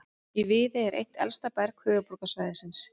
Í Viðey er eitt elsta berg höfuðborgarsvæðisins.